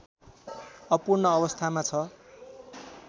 अपूर्ण अवस्थामा छ